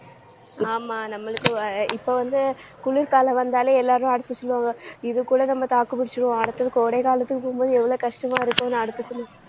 ஆமா நம்மளுக்கு அஹ் இப்ப வந்து குளிர்காலம் வந்தாலே எல்லாரும் அடுத்து சொல்லுவாங்க இதுகூட நம்ம தாக்குப்புடிச்சிருவோம் அடுத்தது கோடை காலத்துக்கு போகும்போது எவ்வளவு கஷ்டமா இருக்கும்னு